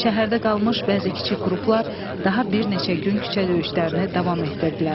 Şəhərdə qalmış bəzi kiçik qruplar daha bir neçə gün küçə döyüşlərini davam etdirdilər.